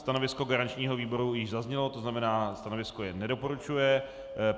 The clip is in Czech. Stanovisko garančního výboru již zaznělo, to znamená, stanovisko je nedoporučuje.